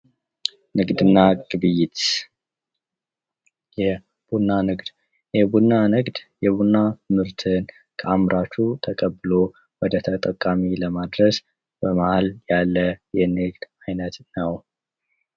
ንግድና ግብይት የቡና ንግድ፤ የቡና ንግድ የቡና ምርትን ከአምራች ተቀብሎ ወደ ተጠቃሚው ለማድረስ በመሐል ያለ የንግድ ዓይነት ነው።